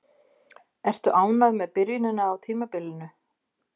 Ertu ánægð með byrjunina á tímabilinu?